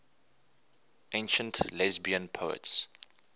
ancient lesbian poets